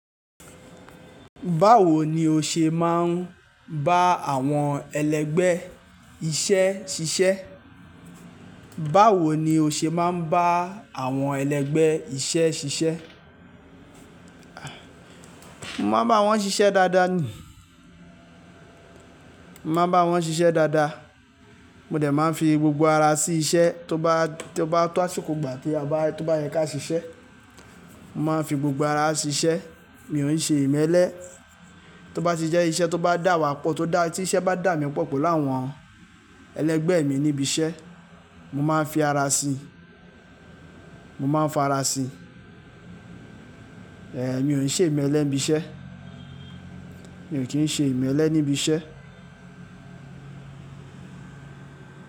Báwo ni o ṣe máa ń bá àwọn ẹlẹgbẹ́ iṣẹ́ ṣiṣẹ́? Báwo ni o ṣe máa ń bá àwọn ẹlẹgbẹ́ iṣẹ́ ṣiṣẹ́? Mo máa ń bá wọn ṣiṣẹ́ dáadáa ni, mo máa ń bá wọn ṣiṣẹ́ dáadáa. Mo dẹ̀ máa ń fi gbogbo ara sí iṣẹ́ tó bá, tó bá tó àṣíko gbà tí a bá, tó bá yẹ ká ṣiṣẹ́. Mo máa ń fi gbogbo ara sí iṣẹ́, mi ò ń ṣe ìmẹ́lẹ́. Tó bá ti jẹ́ iṣẹ́ tó bá dà wá pọ̀, tó dá, tí iṣẹ́ bá dà mí pọ̀ pọ̀ láwọn ẹlẹgbẹ́ mi níbi iṣẹ́, mo máa ń fi ara sí i, mo máa ń fa ara sí i. Mi ò ń ṣe ìmẹ́lẹ́ níbi iṣẹ́. Mi kí ń ṣe ìmẹ́lẹ́ níbi iṣẹ́